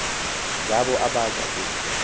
ngabo abaza ku